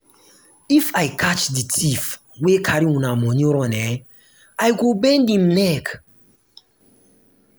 if i catch the thief wey carry una money run eh i go bend im neck.